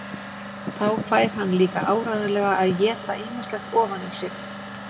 Þá fær hann líka áreiðanlega að éta ýmislegt ofan í sig.